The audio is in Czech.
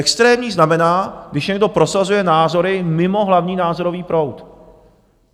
Extrémní znamená, když někdo prosazuje názory mimo hlavní názorový proud.